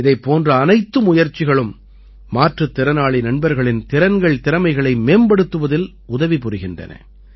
இதைப் போன்ற அனைத்து முயற்சிகளும் மாற்றுத் திறனாளி நண்பர்களின் திறன்கள்திறமைகளை மேம்படுத்துவதில் உதவி புரிகின்றன